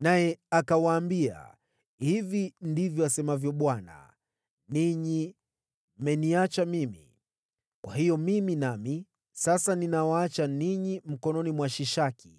naye akawaambia, “Hivi ndivyo asemavyo Bwana , ‘Ninyi mmeniacha mimi, kwa hiyo, mimi nami sasa ninawaacha ninyi mkononi mwa Shishaki.’ ”